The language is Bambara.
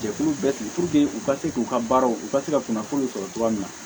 Jɛkulu bɛɛ sigi u ka se k'u ka baaraw u ka se ka kunnafoniw sɔrɔ cogoya min na